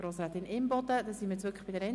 Das Wort hat Natalie Imboden.